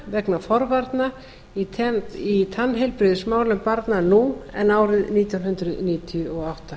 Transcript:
vegna forvarna í tannheilbrigðismálum barna nú en árið nítján hundruð níutíu og átta